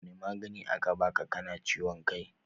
Wani magani aka baa ka na ciwon kai?